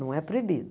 Não é proibido.